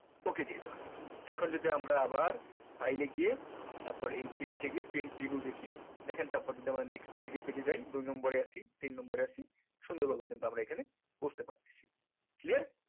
ok দিয়ে দিলাম এখন যদি আমরা আবার file এ গিয়ে তারপর এই print এ গিয়ে print preview দেখি দেখেন তারপরে যদি আমরা nextpage এ page এ যায় দুই number এ আসি তিন number এ আসি সুন্দর ভাবে কিন্তু আমরা এখানে বুজতে পারতেছি clear